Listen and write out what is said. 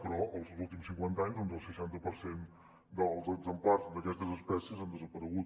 però en els últims cinquanta anys el seixanta per cent dels exemplars d’aquestes espècies han desaparegut